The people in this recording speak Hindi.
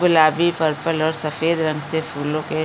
गुलाबी पर्पल और सफ़ेद रंग से फूलो के --